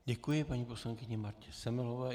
Děkuji paní poslankyni Martě Semelové.